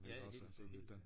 Ja helt sikker helt sikkert